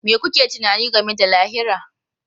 Me kuke tunani game da lahira?